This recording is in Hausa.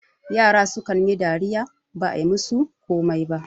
yara sukan yi dariya ba a yi musu komai ba